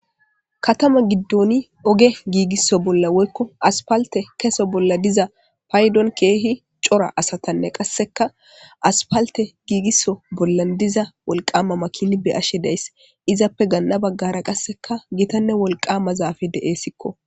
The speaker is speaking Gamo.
Katama giddoni oge giigisso bolla woykko aspalte keso bolla diza paydon keehi cora asatanne qasseka aspalte giigiso bollan diza wolqama makini be ashe dayss izappe ganna baggara qasseka gitanne wolqama zaafe de'essikko.